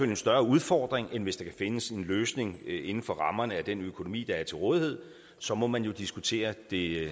en større udfordring end hvis der kan findes en løsning inden for rammerne af den økonomi der er til rådighed så må man jo diskutere det